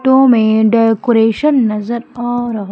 photo में decoration नजर आ रहा--